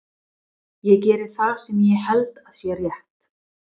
Ég geri það sem ég held að sé rétt.